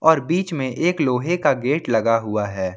अर बीच में एक लोहे का गेट लगा हुआ है।